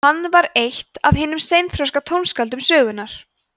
hann var eitt af hinum seinþroska tónskáldum sögunnar